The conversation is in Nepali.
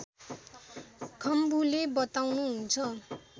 खम्बुले बताउनुहुन्छ